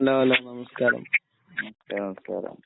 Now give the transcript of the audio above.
ആ. നമസ്കാരം.